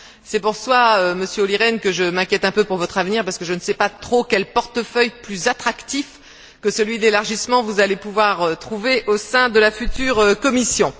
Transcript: C'est pour cela, Monsieur Olli Rehn, que je m'inquiète un peu pour votre avenir, parce que je ne sais pas trop quel portefeuille plus attractif que celui de l'élargissement vous allez pouvoir trouver au sein de la future Commission.